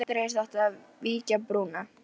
Undir haust átti að vígja brúna.